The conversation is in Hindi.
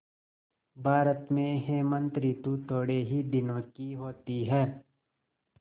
भारत में हेमंत ॠतु थोड़े ही दिनों की होती है